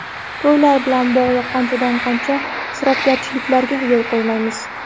To‘ylar bilan bog‘liq qanchadan-qancha isrofgarchiliklarga yo‘l qo‘yamiz.